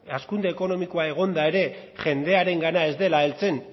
hazkunde ekonomikoa egonda ere jendearengana ez dela heltzen